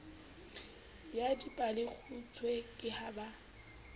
ya dipalekgutshwe ke ha ba